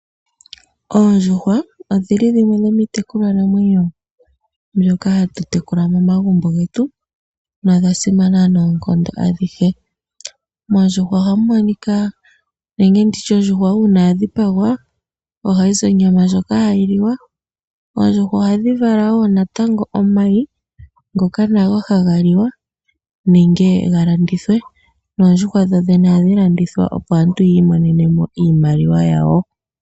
Oondjuhwa odho iitekulwa namwenyo yomegumbo, nodha simana noonkondo. Oondjuhwa ngele dha dhipangwa ohakuzi onyama ndjoka hayi liwa, ohadhi vala woo omayi ngoka haga liwa kaantu nenge galandithwe noondjuhwa dhodhene ohadhi landithwa opo aantu yiimonene mo iimaliwa yokwiikwatha.